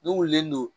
Ne wililen don